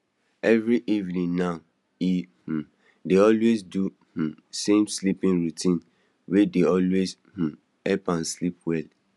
every evening now e um dey always do um same sleeping routine wey dey always um help am sleep well